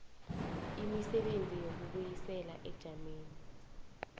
imisebenzi yokubuyisela ebujameni